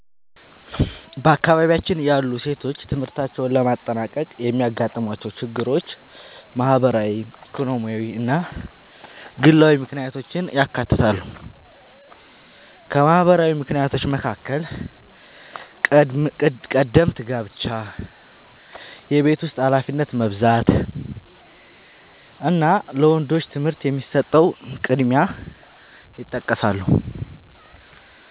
በአካባቢያችን ያሉ ሴቶች ትምህርታቸውን ለማጠናቀቅ የሚያጋጥሟቸው ችግሮች ማህበራዊ፣ ኢኮኖሚያዊ እና ግላዊ ምክንያቶችን ያካትታሉ። ከማህበራዊ ምክንያቶች መካከል ቀደምት ጋብቻ፣ የቤት ውስጥ ኃላፊነት መብዛት እና ለወንዶች ትምህርት የሚሰጠው ቅድሚያ ይጠቀሳሉ።